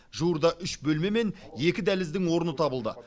жуырда үш бөлме мен екі дәліздің орны табылды